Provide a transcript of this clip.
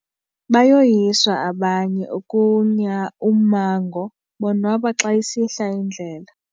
Bayoyiswa abanye ukunya ummango bonwaba xa isihla indlela.